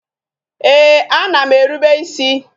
Ee, a na m erube isi